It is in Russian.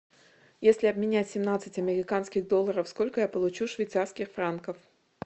если обменять семнадцать американских долларов сколько я получу швейцарских франков